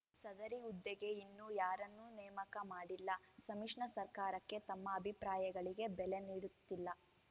ಸದರಿ ಹುದ್ದೆಗೆ ಇನ್ನೂ ಯಾರನ್ನೂ ನೇಮಕ ಮಾಡಿಲ್ಲ ಸಮ್ಮಿಶನ ಸರ್ಕಾರಕ್ಕೆ ತಮ್ಮ ಅಭಿಪ್ರಾಯಗಳಿಗೆ ಬೆಲೆ ನೀಡುತ್ತಿಲ್ಲ